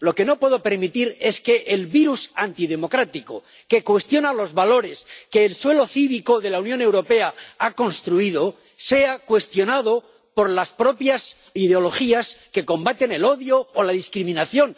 Lo que no puedo permitir es que el virus antidemocrático, que cuestiona los valores que el suelo cívico de la Unión Europea ha construido, sea cuestionado por las propias ideologías que combaten el odio o la discriminación.